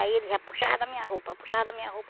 Aí ele já puxava a minha roupa, puxava a minha roupa.